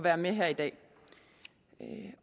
er med her i dag